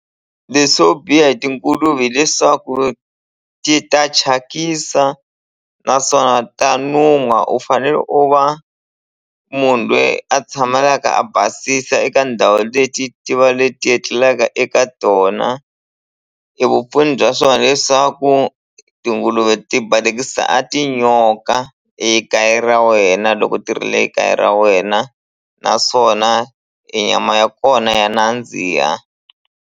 Leswo biha hi tinguluve hileswaku ti ta thyakisa naswona ta nuha u fanele u va munhu loyi a tshamelaka a basisa eka ndhawu leyi ti ti va leti etlelaka eka tona e vupfuni bya swona hileswaku tinguluve ti balekisa a tinyoka ekaya ra wena loko ti ri le kaya ra wena naswona e nyama ya kona ya nandziha.